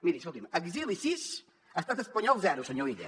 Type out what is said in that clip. miri escolti’m exili sis estat espanyol zero senyor illa